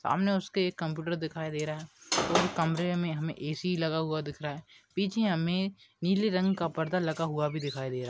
सामने उसके एक कंप्यूटर दिखाई दे रहा है कमरे में हमे ए_सी लगा हुआ दिख रहा है पीछे हमे नीले रंग का पर्दा भी लगा हुआ दिखाई दे रहा--